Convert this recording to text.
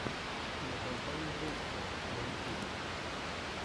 кинокомпания русское на ютьюбе